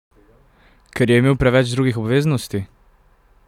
Ker je imel preveč drugih obveznosti?